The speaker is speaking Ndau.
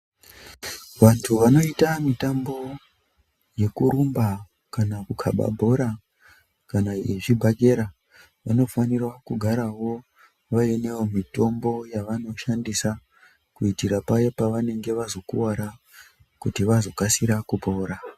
Vantu vanoita mitambo yekurumba kana kukaba bhora kana yezvibhakera vanofanirwa kugarawo vainewo mitombo yavanoshandisa kuitira paya pavanenge vazokuvara kuti vazokasira kupora.